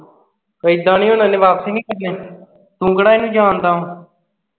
ਇੱਦਾਂ ਨੀ ਹੁਣ ਉਹਨੇ ਵਾਪਸੀ ਨੀ ਕਰਨੇ ਤੂੰ ਕਿਹੜਾ ਇਹਨੂੰ ਜਾਣਦਾ ਵਾਂ